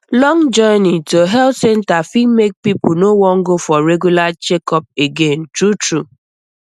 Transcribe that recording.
long journey to health center fit make people no wan go for regular checkup again truetrue